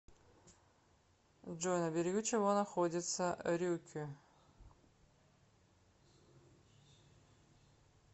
джой на берегу чего находится рюкю